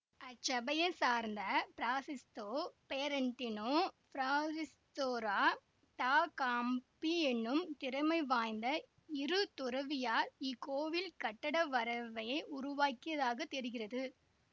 அச்சபையைச் சார்ந்த Fra Sisto Fiorentino Fra Ristoro da Campi என்னும் திறமை வாய்ந்த இரு துறவியார் இக்கோவில் கட்டட வரைவையை உருவாக்கியதாகத் தெரிகிறது